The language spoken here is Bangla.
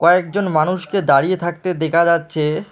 কয়েকজন মানুষকে দাঁড়িয়ে থাকতে দেখা যাচ্ছে।